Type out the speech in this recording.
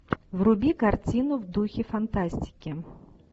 вруби картину в духе фантастики